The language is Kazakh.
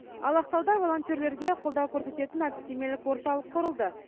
ал ақтауда волонтерлерге қолдау көрсететін әдістемелік орталық құрылды